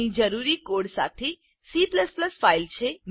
અહીં જરૂરી કોડ સાથે સી ફાઈલ છે